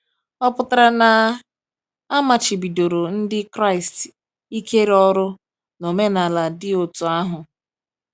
Ọ̀ pụtara na a machibidoro Ndị Kraịst ikere ọ̀rụ n’omenala dị otú ahụ?